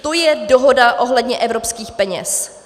To je dohoda ohledně evropských peněz.